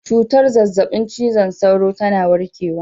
Cutar zazzabin cizon sauro tana warkewa